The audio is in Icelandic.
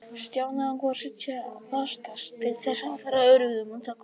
Stjáni ákvað að sitja sem fastast til þess að vera öruggur um að komast með.